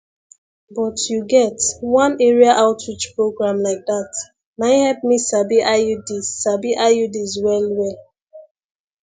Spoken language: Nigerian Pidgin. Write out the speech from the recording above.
but you get one area outreach program like that nai help me sabi iuds sabi iuds well well